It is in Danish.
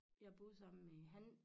Jeg boede sammen med han